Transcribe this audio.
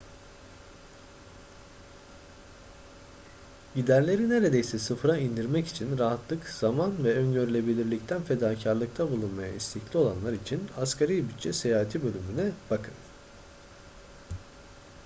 giderleri neredeyse sıfıra indirmek için rahatlık zaman ve öngörülebilirlikten fedakarlıkta bulunmaya istekli olanlar için asgari bütçe seyahati bölümüne bakın